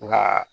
Nka